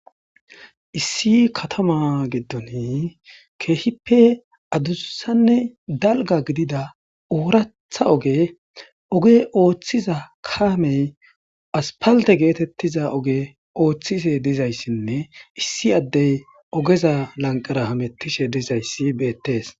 Issi katama giddoni keehippe adussanne dalga gidida oratha oge oge ooththiza kaamey aspalte geetettiza oge ooththise dizayssinne issi addey ogeza lanqara hamettishe dizayssi beettees.